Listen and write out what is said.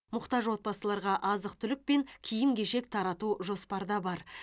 мұқтаж отбасыларға азық түлік пен киім кешек тарату жоспарда бар